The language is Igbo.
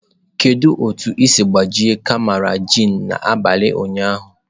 Kedu otu i siri gbajie karama gin n'abalị ụnyaahụ?